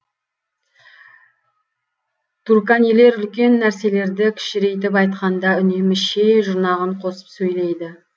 турканилер үлкен нәрселерді кішірейтіп айтқанда үнемі ше жұрнағын қосып сөйлейді